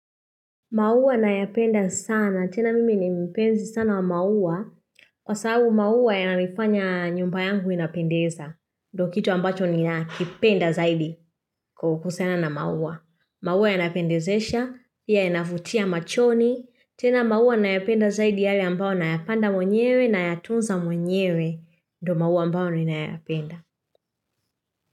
Maua nayapenda sana. Tena mimi ni mpenzi sana wa maua. Kwa sababu maua yananifanya nyumba yangu inapendeza. Ndio kitu ambacho ninakipenda zaidi kwa kuhusiana na maua. Maua yanapendezesha, pia yanavutia machoni. Tena maua nayapenda zaidi yale ambao nayapanda mwenyewe nayatunza mwenyewe. Ndio maua ambao ninayapenda.